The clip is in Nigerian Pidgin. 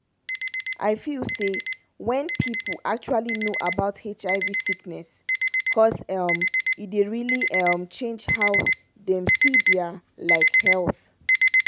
i feel say wen people actually know about hiv sickness cause um e dey really um change how dem see dia like health